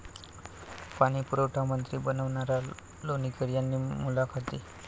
पाणी पुरवठामंत्री बबनराव लोणीकर यांनी मुलाखती.